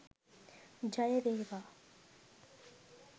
ජය වේවා